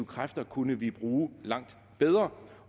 kræfter kunne vi bruge langt bedre